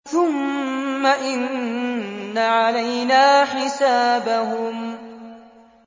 ثُمَّ إِنَّ عَلَيْنَا حِسَابَهُم